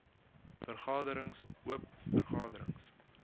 vergaderings oop vergaderings